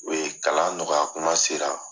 O ye kalan nɔgɔyakuma sera